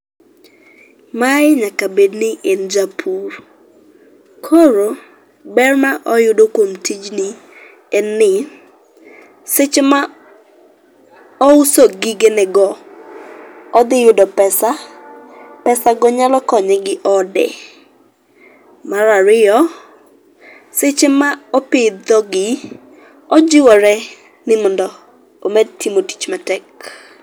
Mae nyaka bedni en japur. Koro, ber ma oyudo kuom tijni, en ni seche ma ouso gigenego, odhi yudo pesa, pesago nyalo ko nye gi ode. Mar ariyo, seche ma opidhogi ojiwore ni mondo omed timo tich matek.